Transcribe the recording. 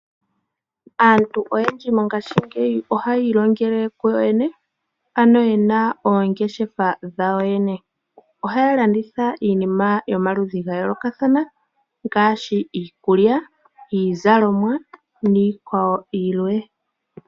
Aantu oyendji mongaashingeyi ohayiilongele kuyo yene. Oyena oongeshefa dhawo yene . Ohaya landitha iinima yomaludhi gayoolokathana. Ngaashi iikulya, iizalomwa nayilwe.